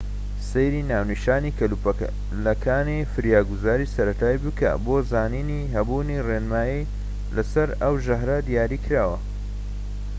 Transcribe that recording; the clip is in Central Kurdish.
سەیری ناونیشانی کەلوپەلەکانی فریاگوزاریی سەرەتایی بکە بۆ زانینی هەبوونی ڕێنمایی لەسەر ئەو ژەهرە دیاریکراوە